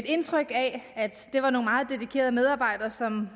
indtryk af at det var nogle meget dedikerede medarbejdere som